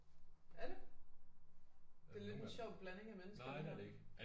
Er det det er lidt en sjov blanding af mennesker det her